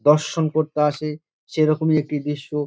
দর্শন করতে আসে সেরকমই একটি দৃশ্য।